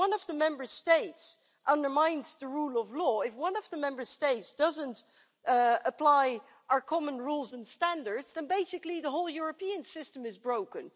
If one of the Member States undermines the rule of law, if one of the Member States doesn't apply our common rules and standards, then basically the whole European system is broken.